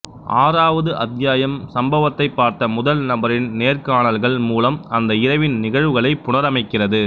ஆறாவது அத்தியாயம் சம்பவத்தை பார்த்த முதல் நபரின் நேர்காணல்கள் மூலம் அந்த இரவின் நிகழ்வுகளை புனரமைக்கிறது